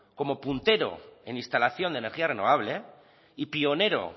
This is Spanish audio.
como puntero en instalación de energía renovable y pionero